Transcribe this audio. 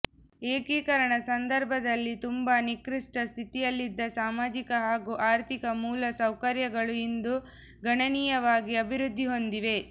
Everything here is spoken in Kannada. ಏಕೀಕರಣ ಸಂದರ್ಭದಲ್ಲಿ ತುಂಬಾ ನಿಕೃಷ್ಟ ಸ್ಥಿತಿಯಲ್ಲಿದ್ದ ಸಾಮಾಜಿಕ ಹಾಗೂ ಆರ್ಥಿಕ ಮೂಲ ಸೌಕರ್ಯಗಳು ಇಂದು ಗಣನೀಯವಾಗಿ ಅಭಿವೃದ್ಧಿ ಹೊಂದಿವೆ